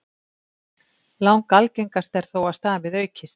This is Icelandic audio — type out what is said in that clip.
Langalgengast er þó að stamið aukist.